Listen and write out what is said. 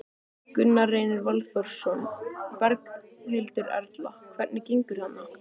Gunnar Reynir Valþórsson: Berghildur Erla, hvernig gengur þarna?